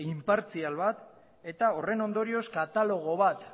inpartzial bat eta horren ondorioz katalogo bat